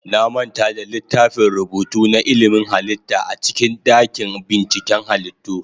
Na manta da littafin rubutu na ilimin halitta a cikin dakin binciken halittu.